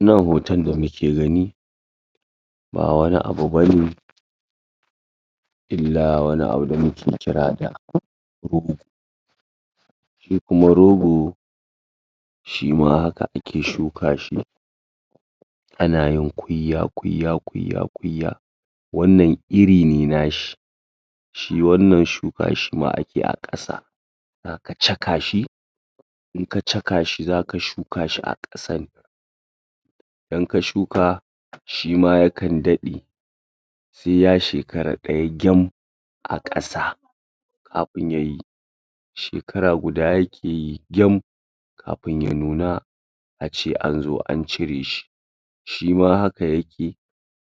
Nan hoton da muke gani ba wani abu bane illa wani abu da muke kira da kuma rogo shima haka ake shuka shi ana yin kwiyya kwiyya kwiyya kwiyya wannan iri ne nashi shi wannan shuka shima ake yi a ƙasa aka caka shi in ka caka shi zaka shuka shi a ƙasan dan ka shuka shima yakan daɗe sai ya shekara ɗaya gyam a ƙasa kapun yayi shekara guda yake yi gyam kapun ya nuna a ce an zo an cire shi shima haka yake